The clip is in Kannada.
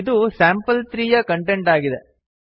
ಇದು ಸ್ಯಾಂಪಲ್3 ಯ ಕಂಟೆಂಟ್ ಆಗಿದೆ